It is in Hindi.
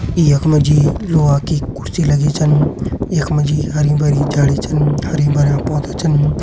यख मा जी लोहा की कुर्सी लगीं छन यख मा जी हरी भरी झाड़ी छन हरी भरयां पौधा छन।